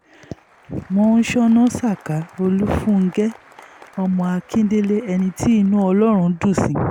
mọ́ńsóná saka olùfúngẹ́ ọmọ akíndélé ẹni tí inú ọlọ́run dùn sí